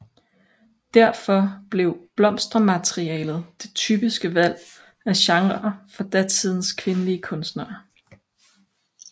Derfor blev blomstermaleriet det typiske valg af genre for datidens kvindelige kunstnere